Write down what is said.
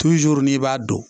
n'i b'a dɔn